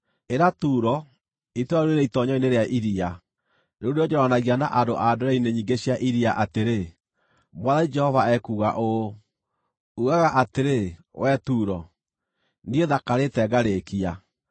Ĩra Turo, itũũra rĩu rĩrĩ itoonyero-inĩ rĩa iria, rĩu rĩonjoranagia na andũ a ndwere-inĩ nyingĩ cia iria atĩrĩ, ‘Mwathani Jehova ekuuga ũũ: “ ‘Uugaga atĩrĩ, wee Turo, “Niĩ thakarĩte ngarĩkia.”